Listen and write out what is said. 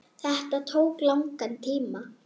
Þetta tók langan tíma.